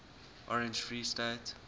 orange free state